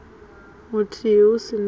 muthihi hu si na u